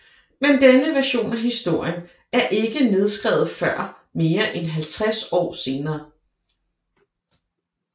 Men denne version af historien er ikke nedskrevet før mere end 50 år senere